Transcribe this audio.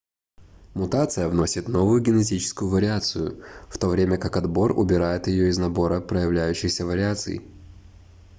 мутация вносит новую генетическую вариацию в то время как отбор убирает её из набора проявляющихся вариаций